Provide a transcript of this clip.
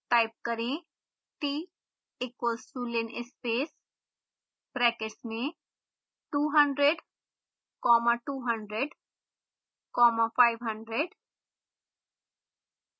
type करें